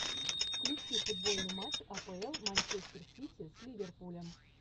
включи футбольный матч апл манчестер сити с ливерпулем